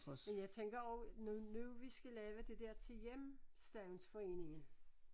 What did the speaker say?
Men jeg tænker også når nu vi skal lave det der til hjemstavns foreningen